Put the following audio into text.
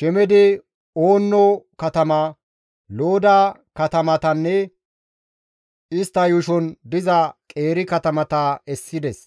Shemedi Oonno katamata, Looda katamatanne istta yuushon diza qeeri katamata essides.